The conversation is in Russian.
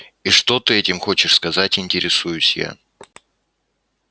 и что ты этим хочешь сказать интересуюсь я